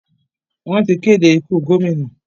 Wọ́n ti kéde ikú gómìnà.